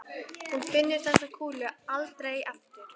Hún finnur þessa kúlu aldrei aftur.